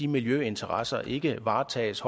miljøinteresserne ikke varetages